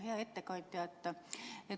Hea ettekandja!